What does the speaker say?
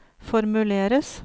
formuleres